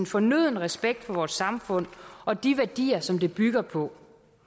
fornødne respekt for vores samfund og de værdier som det bygger på